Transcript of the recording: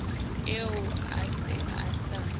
eo a se a sa